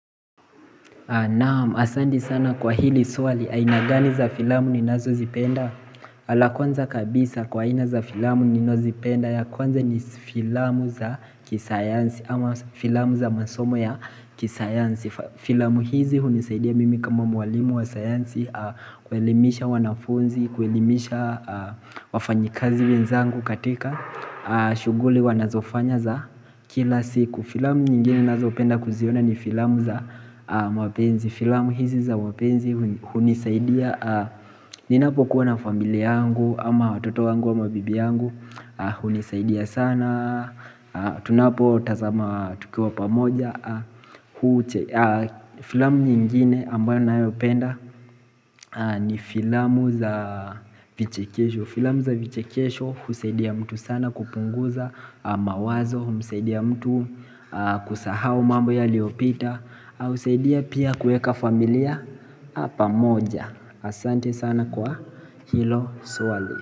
Naam, asanti sana kwa hili swali, aina gani za filamu ninazo zipenda? Kwanza kabisa kwa aina za filamu ninazozipenda, ya kwanza ni filamu za kisayansi ama filamu za masomo ya kisayansi. Filamu hizi hunisaidia mimi kama mwalimu wa sayansi kuelimisha wanafunzi, kuelimisha wafanyikazi wenzangu katika shughuli wanazofanya za kila siku. Filamu nyingine ninazopenda kuziona ni filamu za mapenzi. Filamu hizi za mapenzi hunisaidia ninapokuwa na familia yangu ama watoto wangu, ama bibi yangu hunisaidia sana Tunapo tazama tukiwa pamoja Filamu nyingine ambayo napenda ni filamu za vichekesho. Filamu za vichekesho husaidia mtu sana kupunguza mawazo, humsaidia mtu kusahau mambo yaliyopita na husaidia pia kuweka familia pamoja. Asante sana kwa hilo swali.